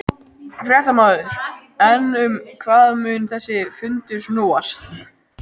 Fréttamaður: En um hvað mun þessi fundur snúast?